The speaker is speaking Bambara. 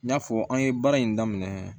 N y'a fɔ an ye baara in daminɛ